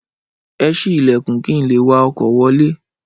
Ẹ sí Ìlẹ̀kùn kin leè wá ọkọ̀ wọlé